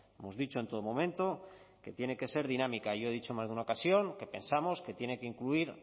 hemos dicho en todo momento que tiene que ser dinámica yo he dicho en más de una ocasión que pensamos que tiene que incluir